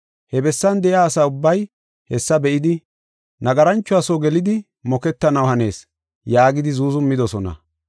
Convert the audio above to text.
He bessan de7iya asaa ubbay hessa be7idi, “Nagaranchuwa soo gelidi moketaniw hanees” yaagidi zuuzumidosona.